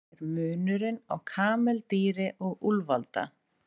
Hver er munurinn á kameldýri og úlfalda?